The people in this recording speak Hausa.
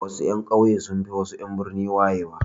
Wasu 'yan ƙauye sunfi en birni wayewa